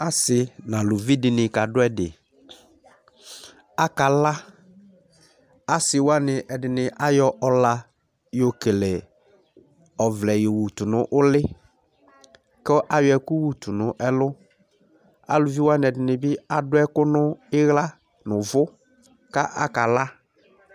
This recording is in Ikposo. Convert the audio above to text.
Asɩ nalʊvɩ dɩnɩ kadʊ ɛdɩ Akala Asɩwanɩ ɛdini ayɔ ɔla ƴɔkele ɔvlɛ yɔ wʊtʊ nʊlɩ, kʊ ayɔ ɛkʊ yʊtʊ nɛlʊ Alʊvɩ wani edinibi adʊɛkʊ niwla nʊvʊ kakala